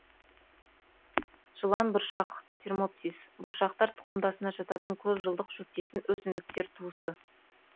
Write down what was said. жыланбұршақ термопсис бұршақтар тұқымдасына жататын көп жылдық шөптесін өсімдіктер туысы